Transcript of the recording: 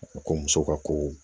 Ko muso ka ko